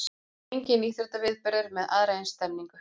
Enginn íþróttaviðburður með aðra eins stemningu